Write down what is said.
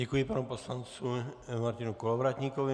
Děkuji panu poslanci Martinu Kolovratníkovi.